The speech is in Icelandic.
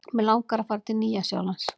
Mig langar að fara til Nýja-Sjálands.